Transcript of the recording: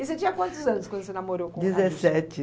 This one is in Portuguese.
E você tinha quantos anos quando você namorou com o Adilson? Dezessete.